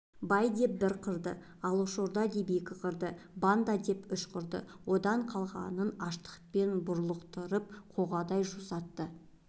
бай деп бір қырды алашорда деп екі қырды банда деп үш қырды одан қалғанын аштықпен бұрлықтырып қоғадай жусатты